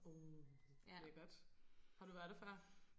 Uh lækkert har du været der før?